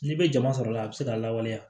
N'i bɛ jama sɔrɔla la a bɛ se ka lawaleya